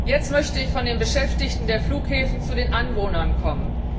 Jetzt möchte ich von den Beschäftigten der Flughäfen zu den Anwohnern kommen.